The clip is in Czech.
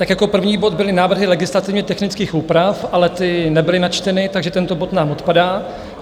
Tak jako první bod byly návrhy legislativně technických úprav, ale ty nebyly načteny, takže tento bod nám odpadá.